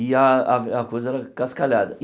E a a a coisa era cascalhada.